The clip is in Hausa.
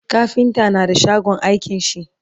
kafinta na da shagon aikin shi